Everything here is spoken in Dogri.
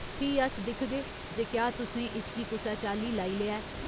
फ्ही अस दिखगे जे क्या तुसें इसगी कुसै चाल्ली लाई लेआ ऐ।